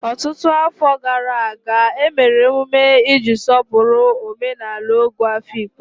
Ọtụtụ afọ gara aga, e mere emume iji sọpụrụ omenala Ogo Afikpo.